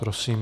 Prosím.